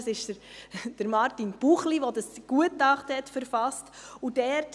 es ist Martin Buchli, der dieses Gutachten verfasste – gezeigt.